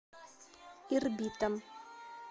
ирбитом